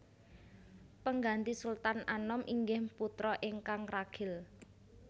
Pengganti Sultan Anom inggih putra ingkang ragil